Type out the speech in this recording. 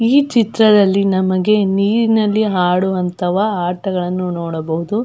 ಈ ಚಿತ್ರದಲ್ಲಿ ನಮಗೆ ನೀರಿನಲ್ಲಿ ಆಡುವಂತವ ಆಟಗಳನ್ನು ನೋಡಬಹುದು.